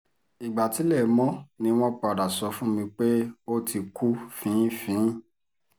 ìgbà tílẹ̀ mọ́ ni wọ́n padà sọ fún mi pé ó ti kú fin-ín-fín-ín